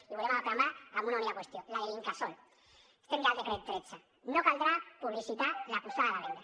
i volem acabar amb una única qüestió la de l’incasòl estem ja al decret tretze no caldrà publicitar la posada a la venda